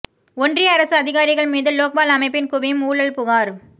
ஒன்றிய அரசு அதிகாரிகள் மீது லோக்பால் அமைப்பில் குவியும் ஊழல் புகார்